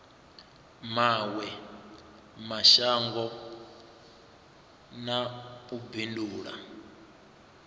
mawe mashango na u bindula